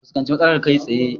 A fuskanci matsalar kai tsaye